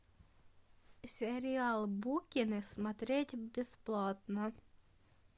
сериал букины смотреть бесплатно